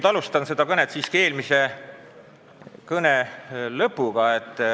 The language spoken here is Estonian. Ma alustan siiski sellega, mis mul eelmise kõne lõpus ütlemata jäi.